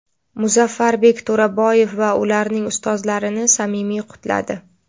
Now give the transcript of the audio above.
Muzaffarbek To‘raboyev va ularning ustozlarini samimiy qutladi.